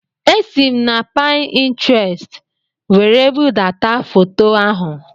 Esi m na Pintrestị were budata foto ahụ